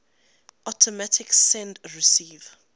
automatic send receive